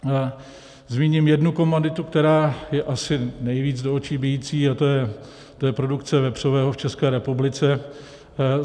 Zmíním jednu komoditu, která je asi nejvíc do očí bijící, a to je produkce vepřového v České republice.